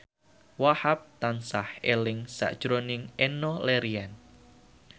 Wahhab tansah eling sakjroning Enno Lerian